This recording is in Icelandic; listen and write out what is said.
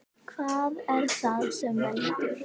Hvað er það sem veldur?